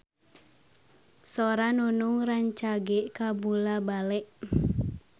Sora Nunung rancage kabula-bale